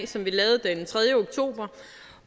som vi lavede den tredje oktober